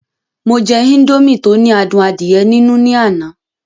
Mo jẹ indomie tí ó ní adùn adíẹ nínú ní àná